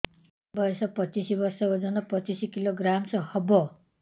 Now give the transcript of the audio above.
ବୟସ ପଚିଶ ବର୍ଷ ଓଜନ ପଚିଶ କିଲୋଗ୍ରାମସ ହବ